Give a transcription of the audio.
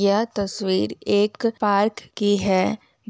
यह तस्वीर एक पार्क की है